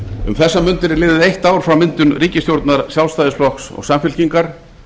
um þessar mundir er liðið eitt ár frá myndun ríkisstjórnar sjálfstæðisflokks og samfylkingar